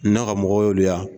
Ne ka mɔgɔw de ya